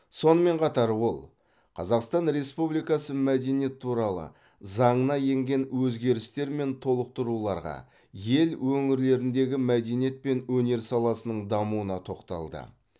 сонымен қатар ол қазақстан республикасы мәдениет туралы заңына енген өзгерістер мен толықтыруларға ел өңірлеріндегі мәдениет пен өнер саласының дамуына тоқталды